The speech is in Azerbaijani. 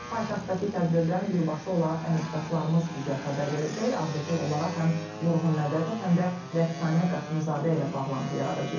Paytaxtdakı tədbirdən birbaşa olaraq əməkdaşlarımız bizə xəbər verəcək, ardıcıl olaraq həm Vurğun Mədətov, həm də Rəqsanə Qasımzadə ilə bağlantı yaradacağıq.